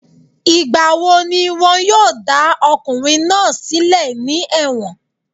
Ìgbà wo ni wọn yóò dá ọkùnrin náà sílẹ̀ ní ẹ̀wọ̀n?